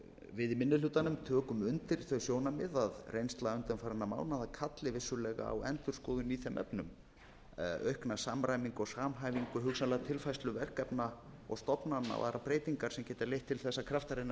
við í minni hlutanum tökum undir þau sjónarmið að reynsla undanfarinna mánaða kalli vissulega á endurskoðun í þeim efnum aukna samræmingu og samhæfingu hugsanlega tilfærslu verkefna og stofnana og aðrar breytingar sem geta leitt til þess að kraftar innan